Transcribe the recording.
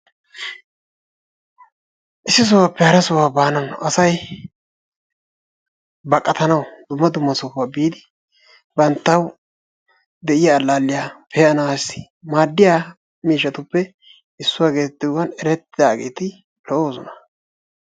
Issi sohuwappe hara sohuwa baanaw asay baqatanaw dumma dumma sohuwaa biidi banttaw de'iyaa allaliyaa pe'anassi maaddiya miishshatuppe issuwaa getettiyoogan erettidaageti lo"oosona.